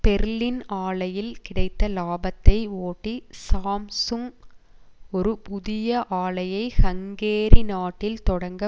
Berlin ஆலையில் கிடைத்த இலாபத்தை ஓட்டி சாம்சுங் ஒரு புதிய ஆலையை ஹங்கேரி நாட்டில் தொடங்க